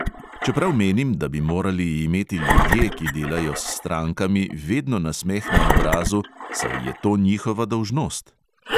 Čeprav menim, da bi morali imeti ljudje, ki delajo s strankami, vedno nasmeh na obrazu, saj je to njihova dolžnost.